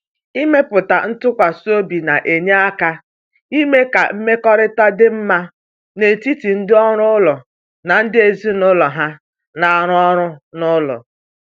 Ịmepụta ntụkwasị obi na-enye aka ime ka mmekọrịta dị mma n’etiti ndị ọrụ ụlọ na ndị ezinụlọ ha na-arụ ọrụ n’ụlọ.